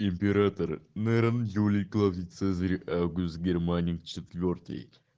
император нерон юлий клавдий цезарь август германик четвёртый